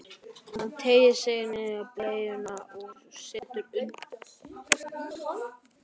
Hann teygir sig í nýja bleyju og setur undir strákinn.